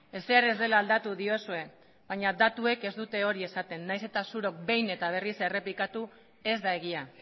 ezer ez dela aldatu diozue baina datuek ez dute hori esaten nahiz eta zuok behin eta berriz errepikatu ez da egia